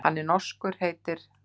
Hann er norskur, heitir